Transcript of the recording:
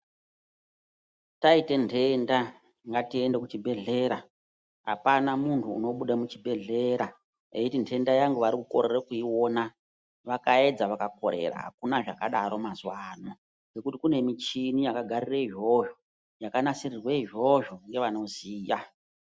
Taite ntenda, ngatiende kuchibhedhlera, hapana munhu unobude muchibhedhlera eiti ndenda yangu vari kiukorere kuiona, vakaedza vakakorera, hakuna zvakadaro mazuwa ano ngekuti kune micheni yakagarire izvozvo, yakanasirirwe izvozvo ngevanoziya.